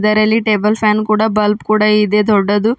ಇದರಲ್ಲಿ table fan ಕೂಡ bulb ಕೂಡ ಇದೇ ದೊಡ್ಡದು.